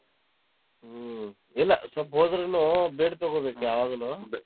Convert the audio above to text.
ಹ್ಮ್ ಇಲ್ಲ ಸ್ವಲ್ಪ್ ಹೋದ್ರುನು ಬೇಡ್ ತೊಗೋಬೇಕ್ ಯಾವಾಗ್ಲೂ.